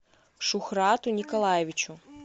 шухрату николаевичу